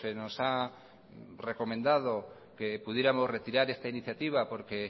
nos ha recomendado que pudiéramos retirar esta iniciativa porque